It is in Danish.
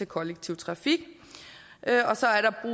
kollektiv trafik og så er